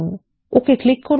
ওকে click করুন